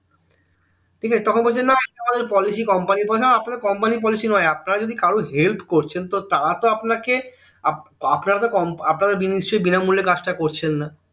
ঠিক আছে তখন বলছে না এটা আমাদের policy company না আপনাদের company এর policy নয় আপনারা যদি কারো help করছেন তো তারাতো আপনাকে আপনারা তো আপনাকে তো নিশ্চই বিনামূল্যে কাজটা করছেন না